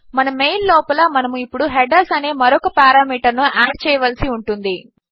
మన మెయిల్ లోపల మనము ఇప్పుడు హెడర్స్ అనే మరొక పెరామీటర్ ను యాడ్ చేయవలసి ఉంటుంది